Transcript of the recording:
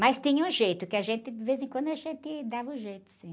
Mas tinha um jeito, que a gente, de vez em quando, a gente dava um jeito, sim.